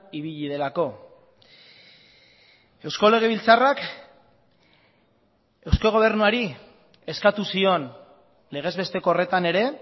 ibili delako eusko legebiltzarrak eusko gobernuari eskatu zion legez besteko horretan ere